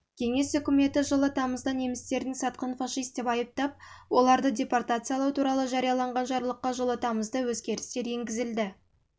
кеңес үкіметі жылы тамызда немістердің сатқын фашист деп айыптап оларды депортациялау туралы жарияланған жарлыққа жылы тамызда өзгерістер енгізді